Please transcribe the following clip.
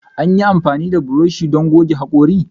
Anyi amfani da buroshi don gogge hakori.